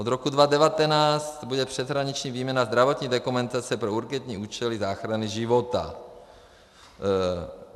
Od roku 2019 bude přeshraniční výměna zdravotní dokumentace pro urgentní účely záchrany života.